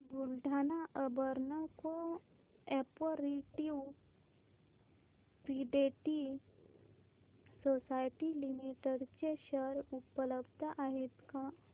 Buldhana urban cooperative credit society limited चे share उपलब्ध आहेत का